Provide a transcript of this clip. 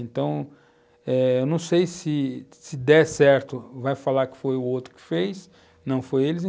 Então, eh, eu não sei se, se der certo, vai falar que foi o outro que fez, não foi eles.